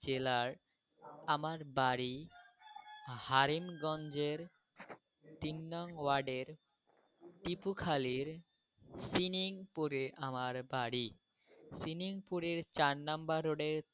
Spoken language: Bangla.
জেলায় আমার বাড়ি হারেন গঞ্জের তিননং ওয়ার্ডের টিপুখালীর সিনিংপুরে আমার বাড়ি। সিনিংপুরের চার নম্বর রোডে।